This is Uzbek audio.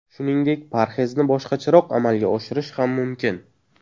Shuningdek, parhezni boshqacharoq amalga oshirish ham mumkin.